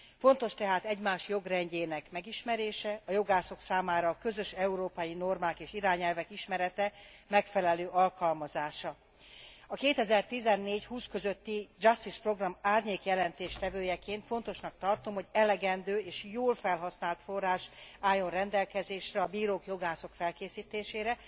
Fontos tehát egymás jogrendjének megismerése, a jogászok számára a közös európai normák és irányelvek ismerete, megfelelő alkalmazása. A 2014 és 2020 közötti Justice program árnyékjelentéstevőjeként fontosnak tartom, hogy elegendő és jól felhasznált forrás álljon rendelkezésre a bírák, jogászok felkészítésére